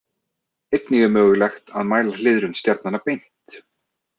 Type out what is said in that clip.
Einnig er mögulegt að mæla hliðrun stjarnanna beint.